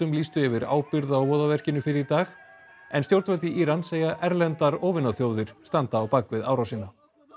lýstu yfir ábyrgð á fyrr í dag en stjórnvöld í Íran segja erlendar standa á bak við árásina